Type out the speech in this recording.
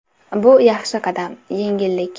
Bu yaxshi qadam, yengillik.